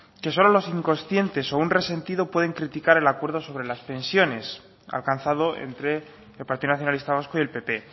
que solo los incoscientes o un resentido puede criticar el acuerdo sobre las pensiones alcanzado entre el partido nacionalista vasco y el pp